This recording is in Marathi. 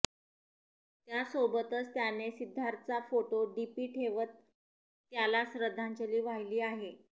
त्यासोबतच त्याने सिद्धार्थचा फोटो डीपी ठेवत त्याला श्रद्धांजली वाहिली आहे